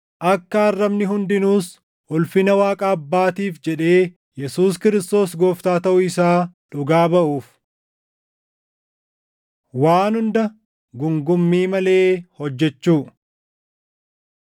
Akka arrabni hundinuus // ulfina Waaqa Abbaatiif jedhee Yesuus Kiristoos Gooftaa taʼuu isaa dhugaa baʼuuf. Waan Hunda Guungummii Malee Hojjechuu